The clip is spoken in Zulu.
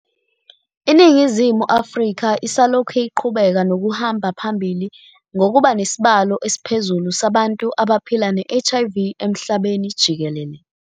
INingizimu Afrika isalokhu iqhubeka nokuhamba phambili ngokuba nesibalo esiphezulu sabantu abaphila ne-HIV emhlabeni jikelele.